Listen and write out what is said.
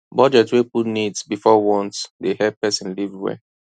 budget wey put needs before wants dey help person live well